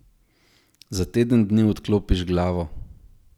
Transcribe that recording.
Za teden dni odklopiš glavo.